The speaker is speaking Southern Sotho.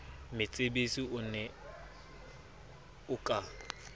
metsebetsi o ne o ka